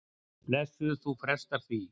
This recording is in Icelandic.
Blessuð, þú frestar því.